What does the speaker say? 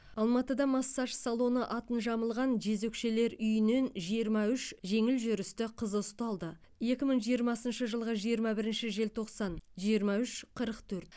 алматыда массаж салоны атын жамылған жезөкшелер үйінен жиырма үш жеңіл жүрісті қыз ұсталды екі мың жиырмасыншы жылғы жиырма бірінші желтоқсан жиырма үш қырық төрт